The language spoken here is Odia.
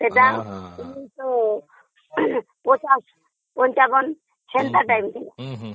ଏଇଟା ପଚାଶ ପଞ୍ଚାବନ ମସିହା ସେଇ time ର